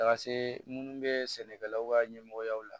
Taga se munnu be sɛnɛkɛlaw ka ɲɛmɔgɔyaw la